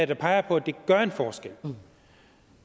der peger på at det gør en forskel